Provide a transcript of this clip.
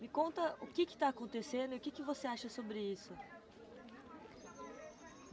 Me conta o que que está acontecendo e o que você acha sobre isso?